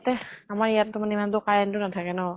লগতে আমাৰ ইয়াত্টো ইমান টো current টো নাথাকে ন